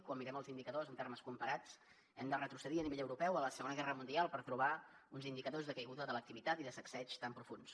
quan mirem els indicadors en termes comparats hem de retrocedir a nivell europeu a la segona guerra mundial per trobar uns indicadors de caiguda de l’activitat i de sacseig tan profunds